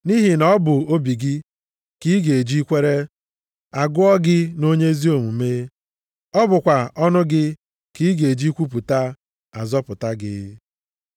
Nʼihi na ọ bụ obi gị ka ị ga-eji kwere; a gụọ gị nʼonye ezi omume, ọ bụkwa ọnụ gị ka ị ga-eji kwupụta, a zọpụta gị.